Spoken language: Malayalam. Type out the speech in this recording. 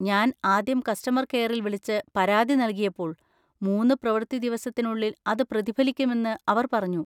ഞാൻ ആദ്യം കസ്റ്റമർ കെയറിൽ വിളിച്ച് പരാതി നൽകിയപ്പോൾ, മൂന്ന് പ്രവൃത്തി ദിവസത്തിനുള്ളിൽ അത് പ്രതിഫലിക്കുമെന്ന് അവർ പറഞ്ഞു.